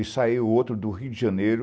E saiu outro do Rio de Janeiro,